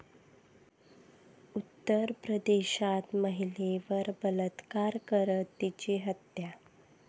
उत्तर प्रदेशात महिलेवर बलात्कार करत तिची हत्या